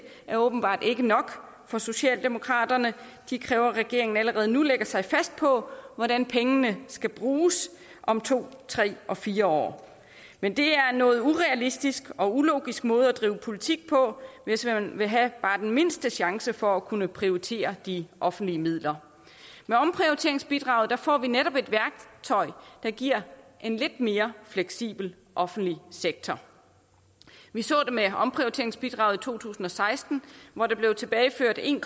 er åbenbart ikke nok for socialdemokraterne de kræver at regeringen allerede nu lægger sig fast på hvordan pengene skal bruges om to tre og fire år men det er en noget urealistisk og ulogisk måde at drive politik på hvis man vil have bare den mindste chance for at kunne prioritere de offentlige midler med omprioriteringsbidraget får vi netop et værktøj der giver en lidt mere fleksibel offentlig sektor vi så det med omprioriteringsbidraget i to tusind og seksten hvor der blev tilbageført en